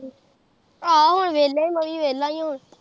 ਆਹੋ ਹੁਣ ਵੇਹਲਾ ਈ ਮੈਂ ਵੀ ਵੇਹਲਾ ਈ ਹੁਣ